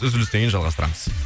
үзілістен кейін жалғастырамыз